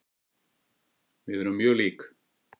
Við erum mjög lík.